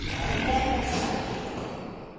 Þetta gekk ekkert þá.